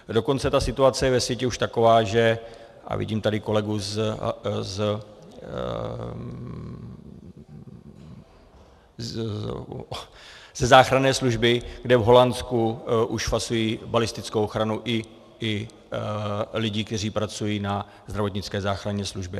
Dokonce ta situace je ve světě už taková, že - a vidím tady kolegu ze záchranné služby - kde v Holandsku už fasují balistickou ochranu i lidé, kteří pracují na zdravotnické záchranné službě.